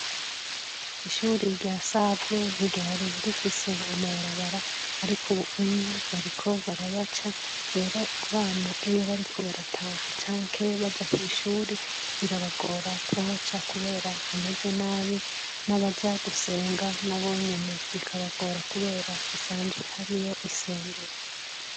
Ishuri rya save ntigari rifise amabarabara, ariko ubuumye bariko barayaca rero abana eyo bariko barataha canke baja kw'ishuri birabagora ku haca, kubera hameze nabi n'abaja gusenga na bonyene bikabagora, kubera hasanzweh ari yo isengero.